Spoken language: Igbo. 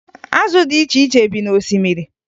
Azụ dị iche iche bi n'osimiri